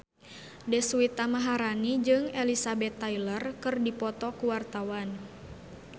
Deswita Maharani jeung Elizabeth Taylor keur dipoto ku wartawan